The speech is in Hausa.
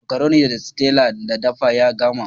Makaroni da Stella ta dafa ya gama.